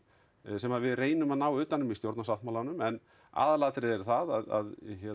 sem við reynum að ná utan um í stjórnarsáttmálanum en aðalatriðið er það að